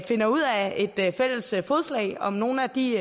finder ud af et fælles fodslag om nogle af de